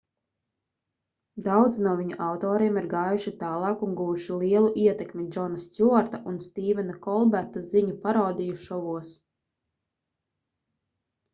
daudzi no viņu autoriem ir gājuši tālāk un guvuši lielu ietekmi džona stjuarta un stīvena kolberta ziņu parodiju šovos